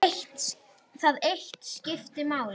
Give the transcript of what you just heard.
Það eitt skipti máli.